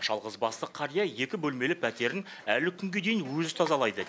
жалғызбасты қария екі бөлмелі пәтерін әлі күнге дейін өзі тазалайды